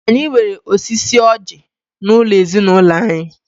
Anyi nwere osisi ọjí n'ulo ezinulo anyi.